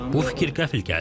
Bu fikir qəfil gəldi.